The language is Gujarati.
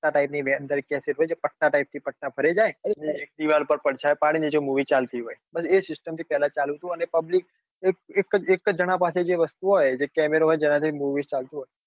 પત્તા type કેસેટ હોય જે પત્તા type થી પત્તા ફરે જાય. એક દીવાલ પર પડછાયો પડીન movie ચાલતી હોય. બસ એજ system થી પેલા ચાલતું હતું અને public એક જ એક જ જણા પાસે જે વસ્તુ હોય જે કેમેરો હોય જેના થી movies ચાલતું હોય.